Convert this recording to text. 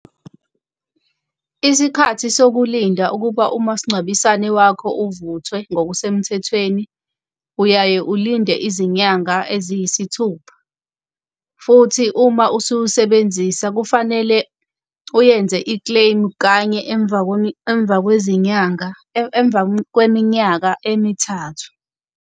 Isikhathi sokulinda ukuba umasingcwabisane wakho uvuthwe ngokusemthethweni uyaye ulinde izinyanga eziyisithupha. Futhi uma ususebenzisa kufanele uyenze i-claim kanye emva kwezinyanga, emva kweminyaka emithathu.